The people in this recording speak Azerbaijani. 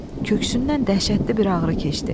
Köksündən dəhşətli bir ağrı keçdi.